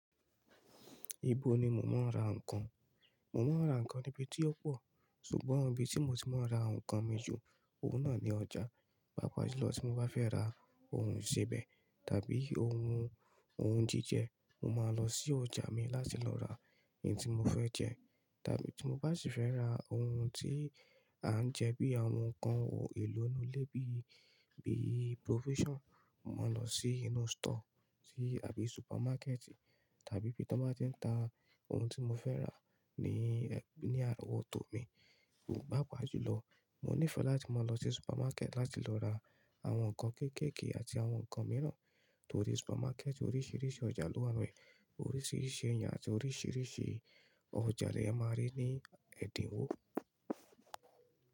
Ibo ni mò ń ra ǹkan? Mò máa ń ra ǹkan níbi tí ó pọ̀, ṣùgbọ́n ibi tí mo ti máa ń ra ǹkan mìju, òun náà ni ọjà. Bápa ju lọ, tí mo bá fẹ́ ra ohun ìsebẹ̀ àbí ohun òun jíjẹ, mo máa lọ sí ọjà mi láti lọ ra ohun tí mo fẹ́ jẹ. Òòtọ́, tí mo bá sì fẹ́ ra ohun tí à ń jẹ bí àwọn ǹkan ohun èlò inú ilé bíi, bíi provision, màá lọ sí inú store ti àbí supermarket tàbí bí mo bá tí ń ta ohun tí mo fẹ́ rà ní, ní àwọ̀ tó mi. Pápa ju lọ, mo nífẹ̀ẹ́ láti máa lọ sí supermarket láti lọ ra àwọn ǹkan kéékèèké àti àwọn ǹkan mìíràn torí supermarket oríṣìíríṣìí ọjà ló wà níbẹ̀, oríṣìíríṣìí ẹ̀yà àti oríṣìíríṣìí ọjà ni a máa rí ní ẹ̀dínwó.